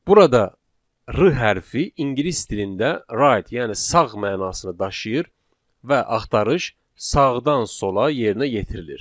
Burada r hərfi ingilis dilində right, yəni sağ mənasını daşıyır və axtarış sağdan sola yerinə yetirilir.